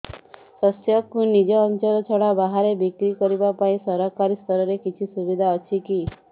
ଶସ୍ୟକୁ ନିଜ ଅଞ୍ଚଳ ଛଡା ବାହାରେ ବିକ୍ରି କରିବା ପାଇଁ ସରକାରୀ ସ୍ତରରେ କିଛି ସୁବିଧା ଅଛି କି